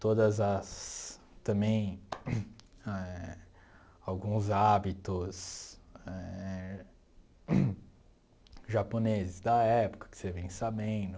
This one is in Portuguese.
Todas as, também eh, alguns hábitos eh japoneses da época que você vem sabendo.